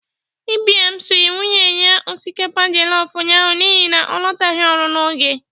Ibiam siri nwunye ya osikapa jọlọf ụnyaahụ n'ihi na ọ lọtaghi ọrụ n'oge.